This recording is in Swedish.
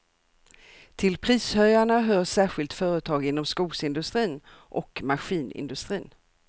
Till prishöjarna hör särskilt företag inom skogsindustrin och maskinindustrin.